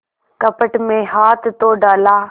कपट में हाथ तो डाला